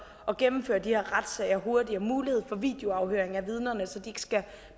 at gennemføre de her retssager hurtigere mulighed for videoafhøring af vidnerne så de ikke skal